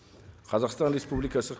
қазақстан республикасы